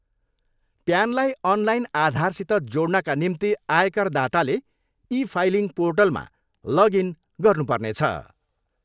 प्यानलाई online आधारसित जोड्नाका निम्ति आयकर दाताले ई फाइलिङ पोर्टलमा लग इन गर्नु पर्नेछ।